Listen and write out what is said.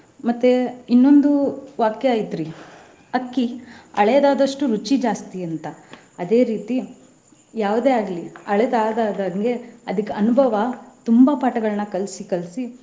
ಮತ್ತೆ ಇನ್ನೊಂದು ವಾಕ್ಯ ಐತ್ರಿ ಅಕ್ಕಿ ಹಳೆದಾದಷ್ಟು ರುಚಿ ಜಾಸ್ತಿ ಅಂತ ಅದೇ ರೀತಿ ಯಾವುದೇ ಆಗ್ಲಿ ಹಳೆದ ಆದ ಆದ ಹಂಗೆ. ಅದಕ್ಕ್ ಅನುಭವ ತುಂಬಾ ಪಾಠಗಳನ್ನ ಕಲ್ಸಿ ಕಲ್ಸಿ.